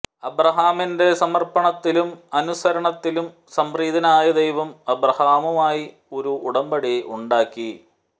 അബ്രാഹമിന്റെ സമര്പ്പണത്തിലും അനുസരണത്തിലും സംപ്രീതനായ ദൈവം അബ്രാഹവുമായി ഒരു ഉടമ്പടി ഉണ്ടാക്കി